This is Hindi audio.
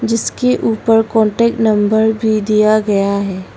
इसके ऊपर कांटेक्ट नंबर भी दिया गया है।